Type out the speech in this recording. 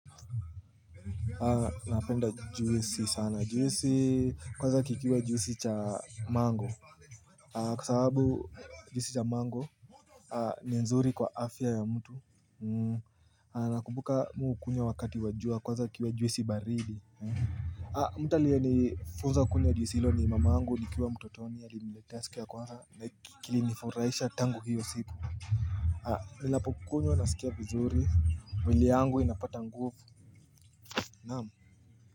Napenda juisi sana juisi kwaza kikiwa juisi cha mango Kwa sababu juisi cha mango ni nzuri kwa afya ya mtu Nakumbuka mimi hukunywa wakati wa jua kwaza kiwe juisi baridi mtu aliyenifunza kunywa juisi hilo ni mama yangu nikiwa mtotoni alinitaste ya kwaza na kilifurahisha tangu hiyo siku Ninapokunywa nasikia vizuri mwili yangu inapata nguvu Naam.